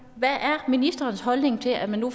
hvad er ministerens holdning til at man nu